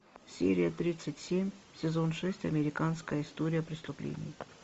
серия тридцать семь сезон шесть американская история преступлений